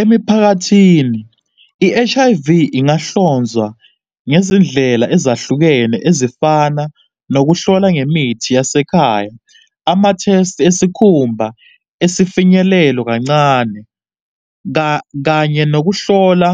Emiphakathini, i-H_I_V ingahlonzwa ngezindlela ezahlukene ezifana nokuhlola ngemithi yasekhaya, ama-thesti esikhumba esifinyelelo kancane, kanye nokuhlola